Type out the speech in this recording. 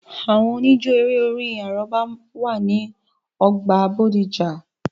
Àwọn òníjó eré-orin àrọ́bá wà ní ọjà bódìjà